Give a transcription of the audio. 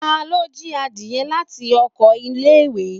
talo jí adie lati ọkọ ile-iwe?